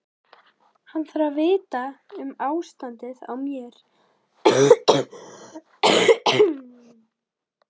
Hann þarf að vita um ástandið á mér.